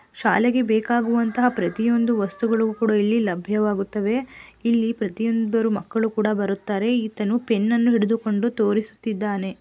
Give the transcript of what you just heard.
ಶಾಲೆಗೆ ಬೆಕಾಗುವಂತಹ ಪ್ರತಿವೊಂದು ವಸ್ತುಗಳು ಕುಡ ಇಲ್ಲಿ ಲಭ್ಯವಾಗುತ್ತವೆ ಇಲ್ಲಿ ಪ್ರತಿ ಒಬ್ಬರು ಮಕ್ಕಳು ಕುಡ ಬರುತ್ತಾರೆ ಇತನು ಪೆನ್ನ ನ್ನು ಹಿಡಿದುಕೊಂಡು ತೊರಿಸುತ್ತಿದ್ದಾನೆ.